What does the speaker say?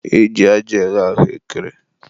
e ji aja eghe ahụekere.